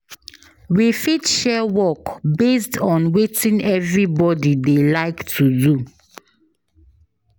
We fit share work based on wetin everybody dey like to do